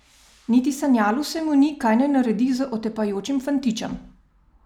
Niti sanjalo se mu ni, kaj naj naredi z otepajočim fantičem.